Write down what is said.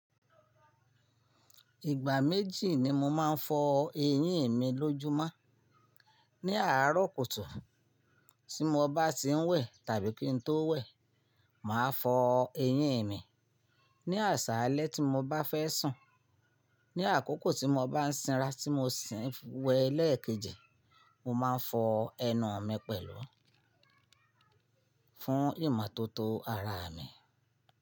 Ìgbà méjì ni mo máa ń fọ eyín mi lójúmọ́. Ni àárọ̀ kùtù tí mo bá ti ń wẹ̀ tàbí kí n tó wẹ̀, màá fọ eyín mi. Ni àsálẹ́ tí mo bá fẹ́ sùn, ní àkókò tí mo bá ń sanra tí mo sì ń wẹ́ lẹ́ẹ̀kejì, mo máa ń fọ ẹnu mi pẹ̀lú fún ìmọ́tótó ara mi.